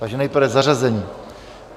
Takže nejprve zařazení.